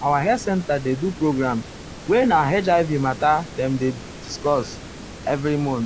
our health center dey do program wey na hiv mata dem dey dem dey discuss ah every month.